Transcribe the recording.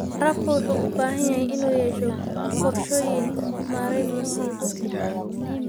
Waraabka wuxuu u baahan yahay inuu yeesho qorshooyin maarayn musiibo.